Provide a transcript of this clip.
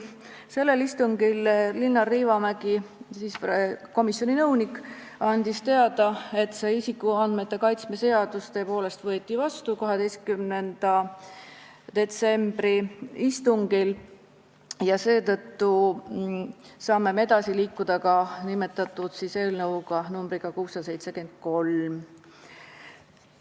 Sellel istungil andis Linnar Liivamägi, komisjoni nõunik, teada, et isikuandmete kaitse seadus võeti 12. detsembri istungil tõepoolest vastu, ja seetõttu saime edasi liikuda ka eelnõuga nr 673.